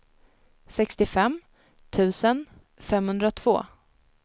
sextiofem tusen femhundratvå